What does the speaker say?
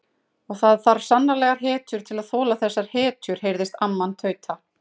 Og það þarf svo sannarlega hetjur til að þola þessar hetjur heyrðist amman tauta.